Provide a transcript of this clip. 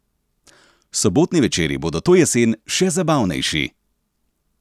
Sobotni večeri bodo to jesen še zabavnejši!